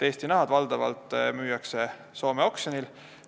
Eesti nahad müüakse valdavalt Soome oksjonil.